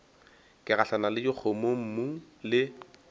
ke gahlana le dikgomommuu le